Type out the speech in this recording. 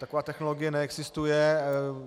Taková technologie neexistuje.